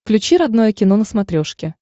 включи родное кино на смотрешке